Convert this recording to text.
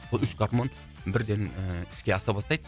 бұл үш гармон бірден ііі іске аса бастайды